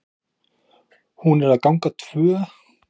ÞÓRBERGUR: Hún er að ganga tvö!